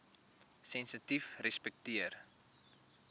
sensitiefrespekteer